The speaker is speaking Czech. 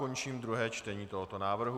Končím druhé čtení tohoto návrhu.